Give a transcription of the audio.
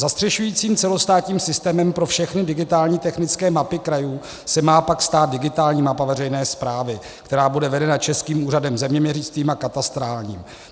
Zastřešujícím celostátním systémem pro všechny digitální technické mapy krajů se má pak stát digitální mapa veřejné správy, která bude vedena Českým úřadem zeměměřickým a katastrálním.